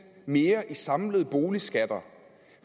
mere i samlede boligskatter